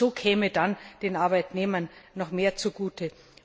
Auch so käme dann den Arbeitnehmern noch mehr zugute.